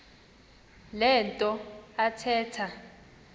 le nto athetha